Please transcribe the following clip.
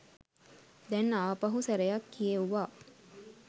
දැන් ආපහු සැරයක් කියෙව්වා